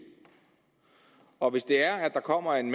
og hvis det er at der kommer en